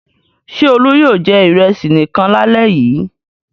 Ṣé Olú yóò jẹ ìrẹsì nìkan lálẹ́ yìí?